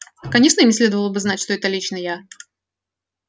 конечно им не следовало бы знать что это лично я